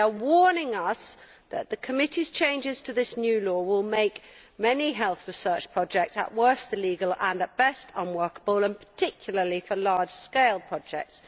They are warning us that the Committee's changes to this new law will make many health research projects at worst illegal and at best unworkable, and particularly so for large scale projects.